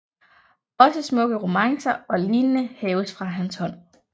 Også smukke romancer og lignende haves fra hans hånd